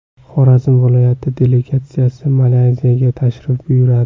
Xorazm viloyati delegatsiyasi Malayziyaga tashrif buyuradi.